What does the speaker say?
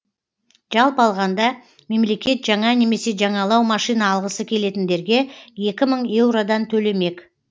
жалпы алғанда мемлекет жаңа немесе жаңалау машина алғысы келетіндерге екі мың еуродан төлемек